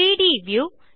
3ட் வியூ